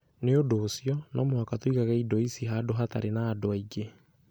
Nĩ ũndũ ũcio, no mũhaka tũigage indo icio handũ hatarĩ na andũ angĩ.